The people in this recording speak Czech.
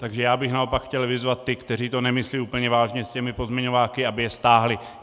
Takže já bych naopak chtěl vyzvat ty, kteří to nemyslí úplně vážně s těmi pozměňováky, aby je stáhli.